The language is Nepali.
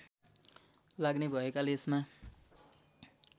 लाग्ने भएकाले यसमा